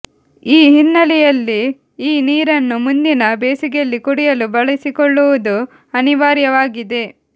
ಈ ಹಿನ್ನೆಲೆಯಲ್ಲಿ ಈ ನೀರನ್ನು ಮುಂದಿನ ಬೇಸಿಗೆಯಲ್ಲಿ ಕುಡಿಯಲು ಬಳಸಿಕೊಳ್ಳುವುದು ಅನಿವಾರ್ಯವಾಗಿದೆ